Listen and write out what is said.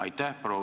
Aitäh!